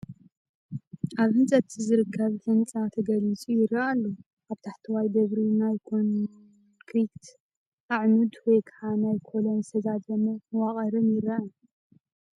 ኣብ ህንፀት ዝርከብ ህንፃ ተገሊፁ ይረአ ኣሎ። ኣብ ታሕተዋይ ደብሪ ናይ ኮንክሪት ኣዕኑድን ወይ ከዓ ናይ ኮለን ዝተዛዘመ መዋቕርን ይረአ።